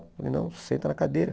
Eu falei, não, senta na cadeira.